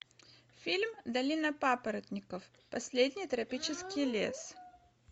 фильм долина папоротников последний тропический лес